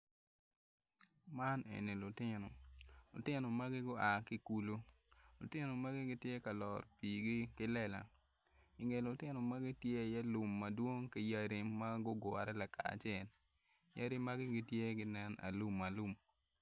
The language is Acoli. Man eni lutino lutino magi gua ki i kulu lutino magi gitye ka loro piigi ki lela inge lutino magi tye lum madwong ki yadi ma gugure lakacel yadi magi gitye ginen alumalum.